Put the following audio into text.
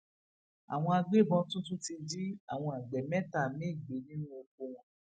àwọn agbébọn tún tún ti jí àwọn agbe mẹta míín gbé nínú oko wọn